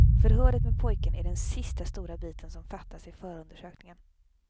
Förhöret med pojken är den sista stora biten som fattas i förundersökningen.